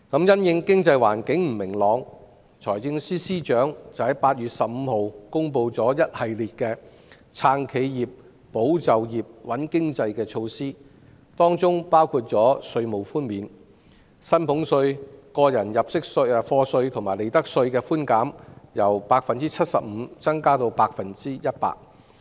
因應經濟環境不明朗，財政司司長在8月15日公布一系列"撐企業、保就業、穩經濟"的措施，當中包括稅務寬免：將薪俸稅、個人入息課稅及利得稅的寬減，由 75% 增加至 100%。